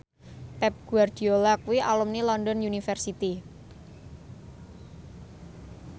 Pep Guardiola kuwi alumni London University